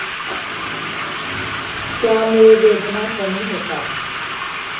त्यामुळे वेदना कमी होतात.